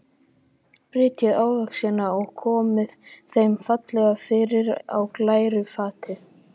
Brytjið ávextina og komið þeim fallega fyrir á glæru fati.